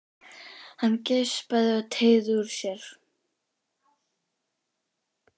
Hann geispaði og teygði úr sér.